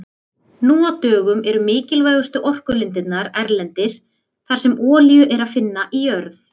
Nú á dögum eru mikilvægustu orkulindirnar erlendis þar sem olíu er að finna í jörð.